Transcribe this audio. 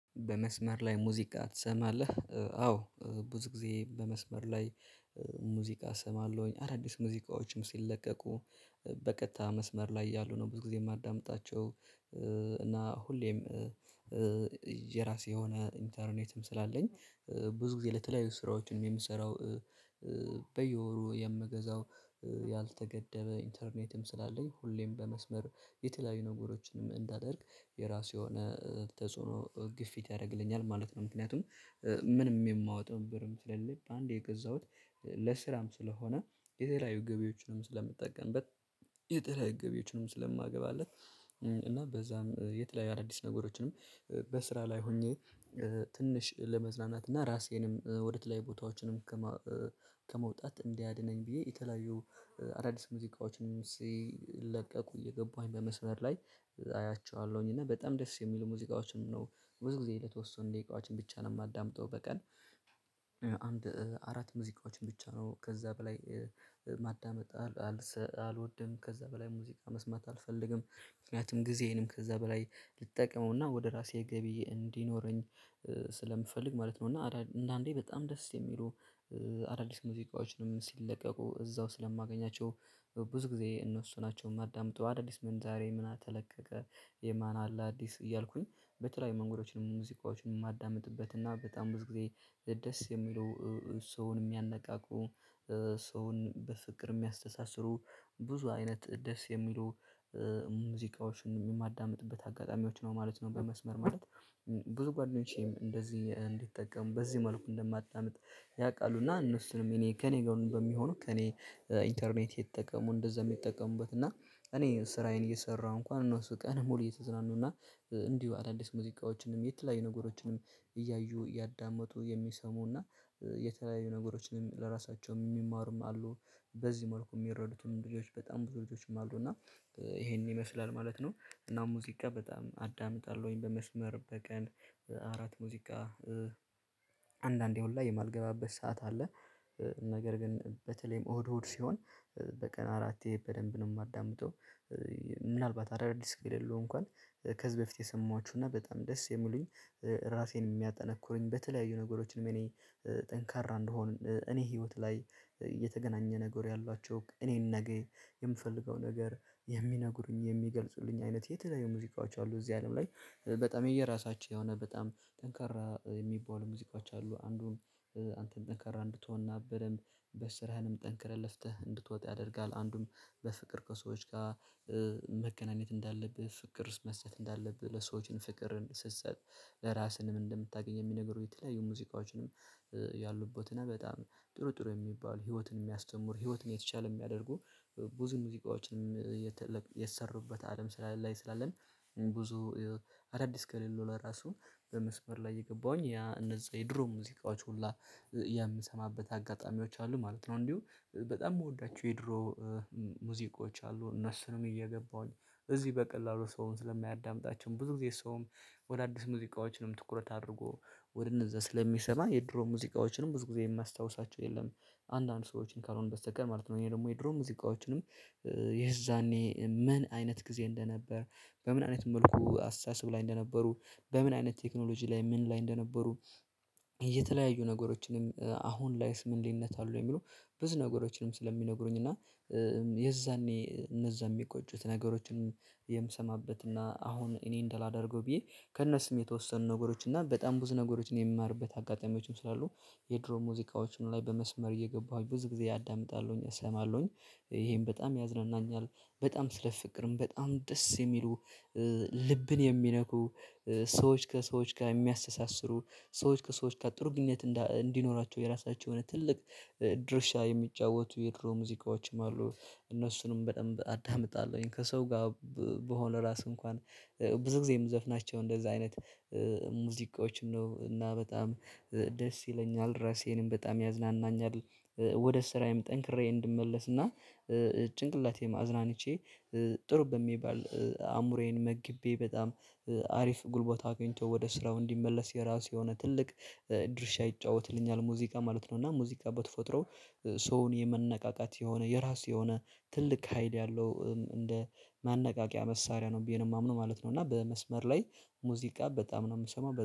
በመስመር ላይ ሙዚቃ ትሰማለህ? አዎ ብዙ ጊዜ በመስመር ላይ ሙዚቃ እሰማለሁኝ አዳዲስ ሙዚቃዎችም ሲለቀቁ በቀጥታ መስመር ላይ ያሉ ነው ብዙ ጊዜ የማዳምጣቸው። እና ሁሌም የራሴ የሆነ ኢንተርኔትም ስላለኝ ብዙ ጊዜ ለተለያዩ ስራዎችንም የምሰራው በየወሩ የምገዛው ያልተገደበ ኢንተርኔትም ስላለኝ ሁሌም በመስመር የተለያዩ ነገሮችንም እንዳደርግ የራሱ የሆነ ተጽዕኖ ግፊት ያደርግልኛል ማለት ነው። ምክንያቱም ምንም የማወጣውም ብርም ስለለለ አንዴ የገዛሁት ለስራም ስለሆነ የተለያዩ ገቢዎችንም ስለምጠቀምበት የተለያየ ገቢዎችንም ስለማገባለት እና በዛም የተለያየ አዳዲስ ነገሮችንም፣ በስራ ላይ ሆኜ ትንሽ ለመዝናናት እና ራሴንም ወደ ትላይ ቦታዎችንም ከመውጣት እንዲያድነኝ ብዬ የተለያዩ አዳዲስ ሙዚቃዎችን ሲለቀቁ እየገባሁኝ በመስመር ላይ አያቸዋለሁኝ። እና በጣም ደስ የሚል ሙዚቃዎችን ነው። ብዙ ጊዜ ለተወሰኑ ደቂቃዎችን ብቻ ነው የማዳምጠው በቀን አንድ አራት ሙዚቃዎችን ብቻ ነው። ከዛ በላይ ማዳመጥ አልወድም። ከዛ በላይ ሙዚቃ መስማት አልፈልግም። ምክንያቱም ጊዜዬንም ከዛ በላይ ልጠቀመውና ወደ ራሴ ገቢ እንዲኖረኝ ስለምፈልግ ማለት ነው እና አዳዲስ እንደአንዴ በጣም ደስ የሚሉ አዳዲስ ሙዚቃዎችንም ሲለቀቁ እዛው ስለማገኛቸው ብዙ ጊዜ እነሱ ናቸው የማዳምጠው። አዳዲስ ምን ዛሬ ምን ተለቀቀ፣ የማን አለ አዲስ እያልኩኝ በተለያዩ መንገዶችን ሙዚቃዎችን የማዳምጥበት እና በጣም ብዙ ጊዜ ደስ የሚሉ፣ ሰውን የሚያነቃቁ፣ ሰውን በፍቅር የሚያስተሳስሩ ብዙ አይነት ደስ የሚሉ ሙዚቃዎችን የማዳምጥበት አጋጣሚዎች ነው ማለት ነው በመስመር ማለት። ብዙ ጓደኞቼም እንደዚህ እንዲጠቀም በዚህ መልኩ እንደማጣምጥ ያውቃሉ። እና እነሱንም እኔ ከእኔ ጋር በሚሆኑ ከእኔ ኢንተርኔት የተጠቀሙ እንደዛ የሚጠቀሙበት። እና እኔ ስራዬን እየሰራ እንኳን እነሱ ቀን ሙሉ እየተዝናኑ እና እንዲሁ አዳዲስ ሙዚቃዎችንም የተለያዩ ነገሮችንም እያዩ እያዳመጡ የሚሰሙና የተለያዩ ነገሮችንም ለራሳቸውም የሚማሩም አሉ። በዚህ መልኩ የሚረዱትን ልጆች በጣም ብዙ ልጆችም አሉ እና ይሄንን ይመስላል ማለት ነው። እና ሙዚቃ በጣም አዳምጣለሁኝ በመስመር፣ በቀን አራት ሙዚቃ አንዳንዴ ሁላ የማልገባበት ሰዓት አለ። ነገር ግን በተለይም እሁድ፣ እሁድ ሲሆን በቀን አራት በደንብ ነው የማዳምጠው። ምናልባት አዳዲስ ከሌለው እንኳን ከዚህ በፊት የሰማኋችሁና በጣም ደስ የሚሉኝ ራሴን የሚያጠነኩሩኝ፣ በተለያዩ ነገሮችንም እኔ ጠንካራ እንዲሆን እኔ ህይወት ላይ የተገናኘ ነገር ያላቸው እኔን ነገ የምፈልገው ነገር የሚነግሩኝ፣ የሚገልጹልኝ አይነት የተለያዩ ሙዚቃዎች አሉ እዚህ አለም ላይ በጣም የየራሳቸው የሆነ በጣም ጠንካራ የሚባሉ ሙዚቃችን አሉ። አንዱን አንተም ጠንካራ እንድትሆንና በደንብ በስራህንም ጠንክረህ ለፍተህ እንድትወጥ ያደርጋል። አንዱም በፍቅር ከሰዎች ጋር መከናኘት እንዳለብህ፣ ፍቅር መስጠት እንዳለብህ፣ ለሰዎችን ፍቅር ስትሰጥ ለራስህንም እንደምታገኝ የሚነግሩኝ የተለያዩ ሙዚቃዎችንም ያሉበትና በጣም ጥሩ ጥሩ የሚባል ህይወትን የሚያስተምሩ ህይወትን የተቻለ የሚያደርጉ ብዙ ሙዚቃዎችንም የሰሩበት አለም ስላለ ላይ ስላለን ብዙ አዳዲስ ከሌለው ለራሱ በመስመር ላይ የገባሁኝ ያ እነዛ የድሮ ሙዚቃዎች ሁላ የምሰማበት አጋጣሚዎች አሉ ማለት ነው። እንዲሁ በጣም የምወዳቸው የድሮ ሙዚቆች አሉ። እነሱንም እየገባሁኝ እዚህ በቀላሉ ሰውን ስለሚያዳምጣቸው፣ ብዙ ጊዜ ሰውም ወደ አዲስ ሙዚቃዎችንም ትኩረት አድርጎ ወደ እነዛ ስለሚሰማ የድሮ ሙዚቃዎችንም ብዙ ጊዜ የማስታውሳቸው የለም። አንዳንድ ሰዎችን ካልሆነ በስተቀር ማለት ነው። ይሄ ደግሞ የድሮ ሙዚቃዎችንም የዛኔ ምን አይነት ጊዜ እንደነበር፤ በምን አይነት መልኩ አስተሳሰብ ላይ እንደነበሩ፤ በምን አይነት ቴክኖሎጂ ላይ ምን ላይ እንደነበሩ፤ እየተለያዩ ነገሮችንም አሁን ላይስ ምን ልዩነት አለው? የሚሉ ብዙ ነገሮችንም ስለሚነግሩኝ እና የዛኔ እነዛ የሚቆጩት ነገሮችን የምሰማበት እና አሁን እኔ እንደላደርገው ብዬ ከእነሱም የተወሰኑ ነገሮች እና በጣም ብዙ ነገሮችን የሚማርበት አጋጣሚዎችም ስላሉ የድሮ ሙዚቃዎችን ላይ በመስመር እየገባሁኝ ብዙ ጊዜ ያዳምጣለሁኝ እሰማለሁኝ። ይሄን በጣም ያዝናናኛል። በጣም ስለ ፍቅርም በጣም ደስ የሚሉ ልብን የሚነኩ፣ ሰዎች ከሰዎች ጋር የሚያስተሳስሩ፣ ሰዎች ከሰዎች ጋር ጥሩ ግንኙነት እንዲኖራቸው የራሳቸውን ትልቅ ድርሻ የሚጫወቱ የድሮ ሙዚቃዎችም አሉ። እነሱንም በደንብ አዳምጣለሁኝ፣ ከሰው ጋር ቢሆነ ራሱ እንኳን ብዙ ጊዜ የምዘፍናቸው እንደዛ አይነት ሙዚቃዎች ነው እና በጣም ደስ ይለኛል ራሴንም በጣም ያዝናናኛል። ወደ ስራዬም ጠንክሬ እንድመለስ ጭንቅላቴም አዝናንቼ ጥሩ በሚባል አምሮዬን መግቤ በጣም አሪፍ ጉልቦት አግኝተው ወደ ስራው እንዲመለስ የራሱ የሆነ ትልቅ ድርሻ ይጫወትልኛል ሙዚቃ ማለት ነው። እና ሙዚቃ በተፈጥሮ ሰውን የመነቃቃት የሆነ የራሱ የሆነ ትልቅ ሃይድ ያለው እንደ ማነቃቂያ መሳሪያ ነው ብዬ የማምነው ማለት ነው። እና በመስመር ላይ ሙዚቃ በጣም ነው የምሰማው።